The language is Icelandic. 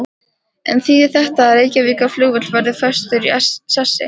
En þýðir þetta að Reykjavíkurflugvöllur verður festur í sessi?